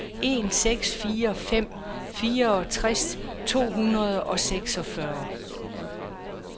en seks fire en fireogtres to hundrede og seksogfyrre